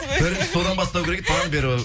бірінші содан бастау керек еді бағанадан бері